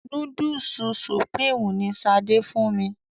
Núdùsù Supreme ni Ṣadé fún mi.